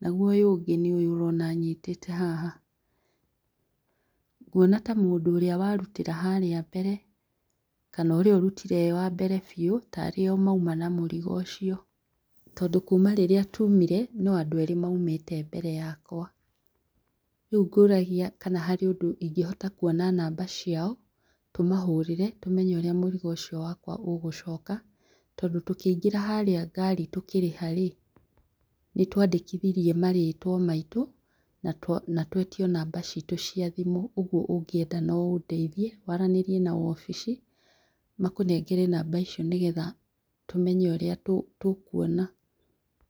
naguo ũyũ ũngĩ nĩ ũyũ ũrona nyitĩte haha. Nguona ta mũndũ ũrĩa warutĩra harĩa mbere kana ũrĩa ũrutire arĩ wa mbere biũ tario mauma na mũrigo ũcio, tondũ kuma rĩrĩa tumire no andũ erĩ maumire mbere yakwa. Rĩũ ngũragia kana harĩ ũndũ ingĩhota kuona namba ciao, tũmahũrĩre, tũmenye ũrĩa mũrigo ũcio wakwa ũgũcoka, tondũ tũkĩingĩra harĩa ngari tũkĩrĩha rĩ, nĩtwandĩkithirie marĩtwa maitũ natwetio namba citũ cia thimũ. Ũguo ũngĩenda no ũndeithie waranĩrie na wabici makũnengere namba icio nĩgetha tũmenye ũrĩa tũkuona.